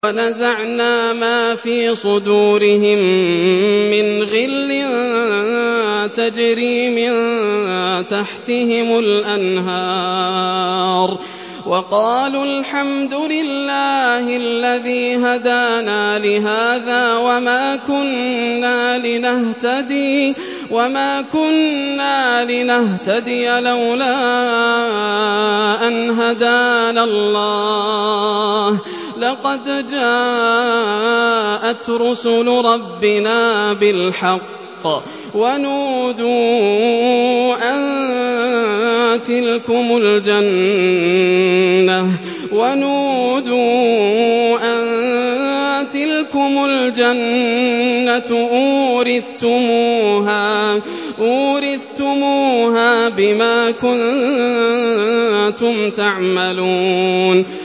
وَنَزَعْنَا مَا فِي صُدُورِهِم مِّنْ غِلٍّ تَجْرِي مِن تَحْتِهِمُ الْأَنْهَارُ ۖ وَقَالُوا الْحَمْدُ لِلَّهِ الَّذِي هَدَانَا لِهَٰذَا وَمَا كُنَّا لِنَهْتَدِيَ لَوْلَا أَنْ هَدَانَا اللَّهُ ۖ لَقَدْ جَاءَتْ رُسُلُ رَبِّنَا بِالْحَقِّ ۖ وَنُودُوا أَن تِلْكُمُ الْجَنَّةُ أُورِثْتُمُوهَا بِمَا كُنتُمْ تَعْمَلُونَ